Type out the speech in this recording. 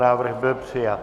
Návrh byl přijat.